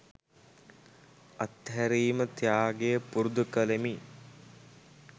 අත්හැරීම ත්‍යාගය පුරුදු කරමි.